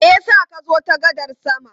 Me ya sa ka zo ta gadar sama?